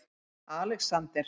Alexander